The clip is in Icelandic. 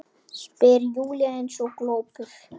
spyr Júlía eins og glópur.